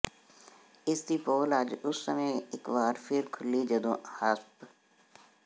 ਇਸ ਦੀ ਪੋਲ ਅੱਜ ਉਸ ਸਮੇਂ ਇਕ ਵਾਰ ਫਿਰ ਖੁੱਲ੍ਹੀ ਜਦੋਂ ਹਸਪ